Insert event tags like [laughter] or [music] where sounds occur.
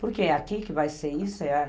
Porque é aqui que vai ser isso? [unintelligible]